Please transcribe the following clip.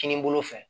Kinibolo fɛ